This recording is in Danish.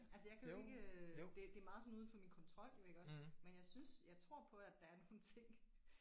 Altså jeg kan jo ikke det det er meget sådan uden for min kontrol jo iggås men jeg synes jeg tror på at der er nogle ting